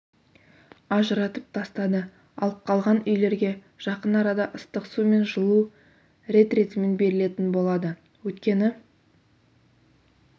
ажыратып тастады ал қалған үйлерге жақын арада ыстық су мен жылу рет-ретімен берілетін болады өйткені